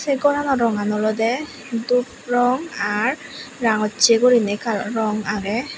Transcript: eh gorano rongan olowde dub rong ar rangocche gurinei kalaro rong agey.